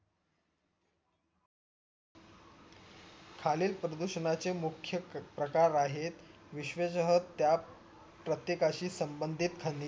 खालील प्रदूषणच्या मुख्य क प्रकार आहे विश्वेसह त्या प्रत्येकाशी संबंधित खनि